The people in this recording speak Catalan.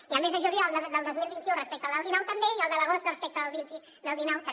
i al mes de juliol del dos mil vint u respecte al del dinou també i al de l’agost respecte al del dinou també